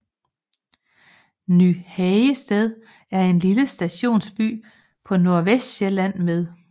Ny Hagested er en lille stationsby på Nordvestsjælland med